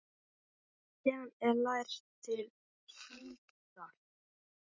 Lexían er lærð til hlítar.